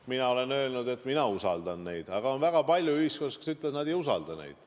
Mina olen öelnud, et mina usaldan neid, aga on väga palju inimesi ühiskonnas, kes ütlevad, et nad ei usalda neid.